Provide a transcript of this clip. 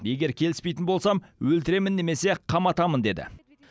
егер келіспейтін болсам өлтіремін немесе қаматамын деді